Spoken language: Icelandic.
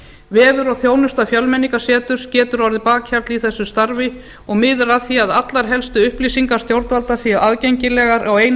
vefur og þjónusta fjölmenningarseturs getur orðið bakhjarl í þessu starfi og miðar að því að allar helstu upplýsingar stjórnvalda séu aðgengilegar á einum